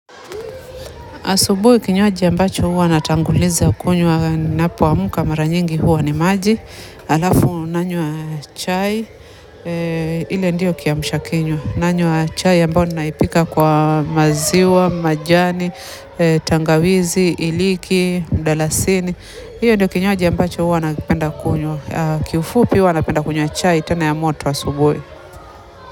Asubuhi kinyuaji ambacho huwa natanguliza kunywa ninapamka maranyingi huwa ni maji, alafu nanywa chai, ili ndio kiamshakinywa. Nanywa chai ambao naipika kwa maziwa majani tangawizi iliki mdalasini hiyo ndio kinywaji ambacho huwa napenda kunywa kiufupi huwa napenda kunywa chai tena ya moto asubuhi.